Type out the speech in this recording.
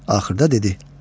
Axırda dedi: